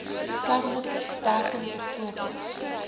beskermende bedekking bv